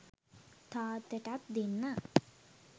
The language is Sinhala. තාත්තටත් දෙන්න